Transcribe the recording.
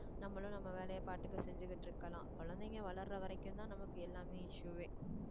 நம்மளும் நம்ம நம்மளும் நம்ம வேலையை பாட்டுக்கு செஞ்சுக்கிட்டு இருக்கலாம் குழந்தைங்க வளர்ற வரைக்கும்தான் நமக்கு எல்லாமே issue வே